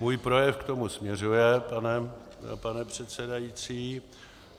Můj projev k tomu směřuje, pane předsedající.